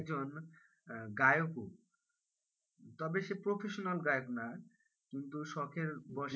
একজন আহ গায়কও, তবে সে professional গায়ক নয় কিন্তু শখের বশে,